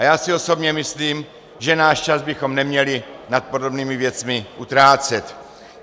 A já si osobně myslím, že náš čas bychom neměli nad podobnými věcmi utrácet.